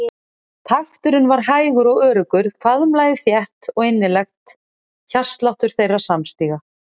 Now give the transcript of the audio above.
Takturinn var hægur og öruggur, faðmlagið þétt og innilegt hjartsláttur þeirra samstíga.